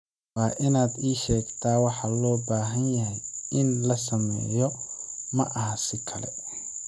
Waa inaad ii sheegtaa waxa loo baahan yahay in la sameeyo, ma aha si kale.